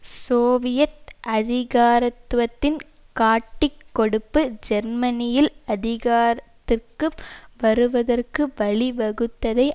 Soviet அதிகாரத்துவத்தின் காட்டிக்கொடுப்பு ஜெர்மனியில் அதிகாரத்திற்கு வருவதற்கு வழிவகுத்ததை